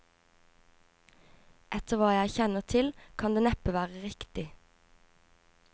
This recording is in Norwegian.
Etter hva jeg kjenner til kan det neppe være riktig.